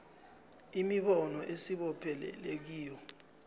imibono esibopheleleke kiyo